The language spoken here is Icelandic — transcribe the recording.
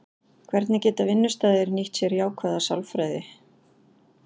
Hvernig geta vinnustaðir nýtt sér jákvæða sálfræði?